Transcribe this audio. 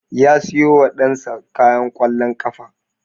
Ya siyo wa ɗan sa kayan ƙwallon ƙafa